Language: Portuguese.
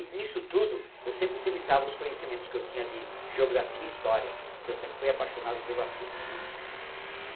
Nisso tudo, eu sempre utilizava os conhecimentos que eu tinha de geografia e história, que eu sempre fui apaixonado pelo assunto, né?